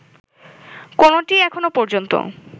কোনটিই এখনো পর্যন্ত